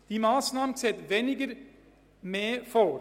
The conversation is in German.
Diese Massnahme sieht «weniger Mehr» vor.